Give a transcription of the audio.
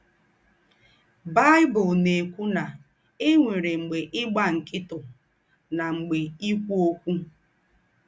Baị́bụ̀l ná-èkwù ná è nwérè “ m̀gbè ígbà ńkị̀tụ̀, ná m̀gbè íkwú ókwú. ”